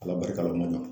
Ala barika la o ma ɲa